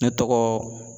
Ne tɔgɔ